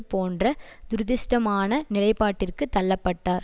போன்ற துரதிருஷ்டமான நிலைப்பாட்டிற்கு தள்ள பட்டார்